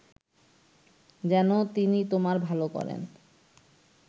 যেন তিনি তোমার ভাল করেন